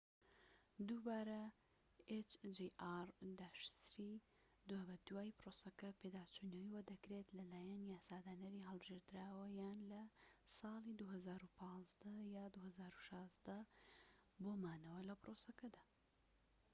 دوابەدوای پرۆسەکە، hjr-3 دووبارە پێداچونەوەی بۆدەکرێت لەلایەن یاسادانەری هەڵبژێردراوەوە یان لە ساڵی ٢٠١٥ یان ٢٠١٦ دا بۆ مانەوە لە پرۆسەکەدا